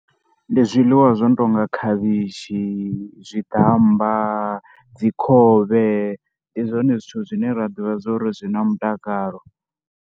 Ndi zwiḽiwa zwo no tou nga khavhishi, zwiamba, dzikhovhe. Ndi zwone zwithu zwine ra ḓivha zwo ri zwi na mutakalo.